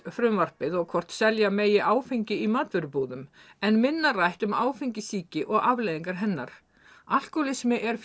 frumvarpið og hvort selja megi áfengi í matvörubúðum en minna rætt um áfengissýki og afleiðingar hennar alkóhólismi er